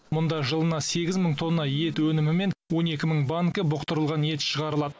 мұнда жылына сегіз мың тонна ет өнімі мен он екі мың банкі бұқтырылған ет шығарылады